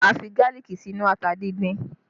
A fi gálíìkì sínú ata díndín